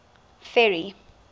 ferry